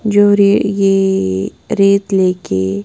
जो रे ये रेत लेके--